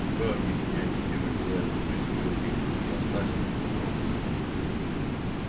метро объединяет в себе материальную жизнь и обе ипостаси загробной